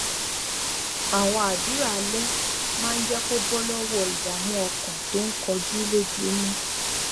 àwọn àdúrà alẹ máa ń jé kó bó lówó ìdààmú ọkàn tó ń kojú lójúmọ